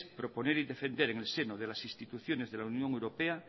proponer y defender en el seno de las instituciones de la unión europea